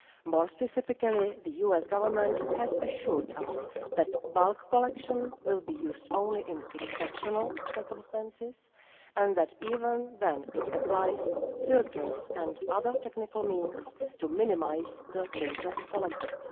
More specifically, the US Government has assured us that bulk collection will be used only in exceptional circumstances and that even then it applies filters and other technical means to minimise the data collected.